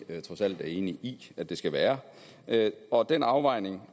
trods alt er enig i at det skal være og den afvejning